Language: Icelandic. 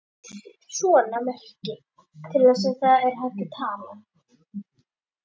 En. hér erum við.